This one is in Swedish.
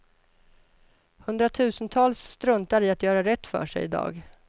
Hundratusentals struntar i att göra rätt för sig i dag.